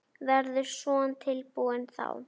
Verður Son tilbúinn þá?